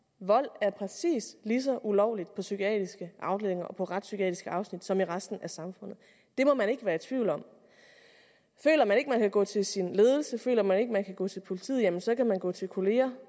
vold er præcis lige så ulovligt på psykiatriske afdelinger og på retspsykiatriske afsnit som i resten af samfundet det må man ikke være i tvivl om føler man ikke man kan gå til sin ledelse og føler man ikke man kan gå til politiet jamen så kan man gå til kolleger